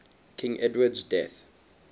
king edward's death